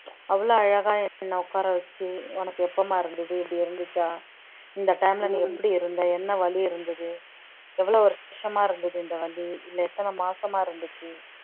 அவ்வளவு அழகா என்னை உட்கார வச்சு உனக்கு எப்பம்மா இருந்தது இப்படி இருந்துச்சா இந்த time ல நீ எப்படி இருந்த என்ன வலி இருந்தது எவ்வளவு வருஷமா இருந்தது இந்த வலி இல்லை எத்தன மாசமா இருந்துச்சு